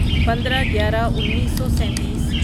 پندرہ گیارہ انیسو سینتیس